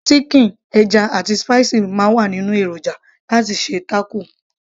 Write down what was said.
síkìn, ẹja, àti spicy máa ń wà nínú èròjà láti ṣe taco